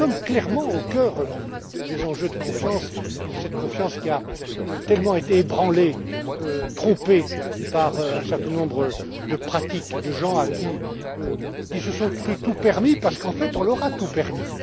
Nous sommes clairement au cœur des enjeux de confiance, de cette confiance qui a tellement été ébranlée et trompée par un certain nombre de pratiques de gens qui se sont cru tout permis parce qu'en fait on leur a tout